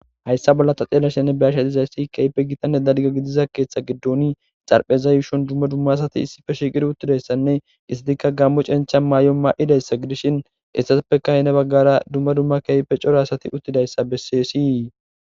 Hayssa bolla ta ve'ashenne xeellashe de'izayssi keehippe gitanne dalgga gidiza keeththa giddon xaraphpheza yuushon dumma dumma asati issippe shiiqi uttidayssanne istikka gaammo cenchcha mayo maayidayssa gidishin hessazappekka heni baggan dumma dumma keehippe cora asati uttidayssa besses.